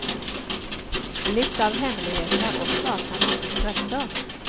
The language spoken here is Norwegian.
Litt av hemmeligheten er også at man ikke stresser.